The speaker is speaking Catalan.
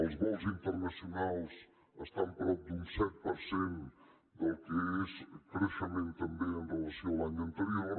els vols internacio nals estan prop d’un set per cent del que és creixement també en relació amb l’any anterior